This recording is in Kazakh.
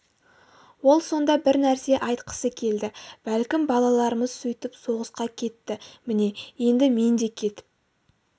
ол сонда бір нәрсе айтқысы келді бәлкім балаларымыз сөйтіп соғысқа кетті міне енді мен де кетіп